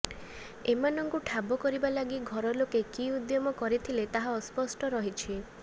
ଏମାନଙ୍କୁ ଠାବ କରିବା ଲାଗି ଘରଲୋକେ କି ଉଦ୍ୟମ କରିଥିଲେ ତାହା ଅସ୍ପଷ୍ଟ ରହିଛି